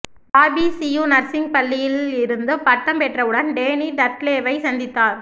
Bobby Sue nursing பள்ளியில் இருந்து பட்டம் பெற்றவுடன் டேனி டட்லேவை சந்தித்தார்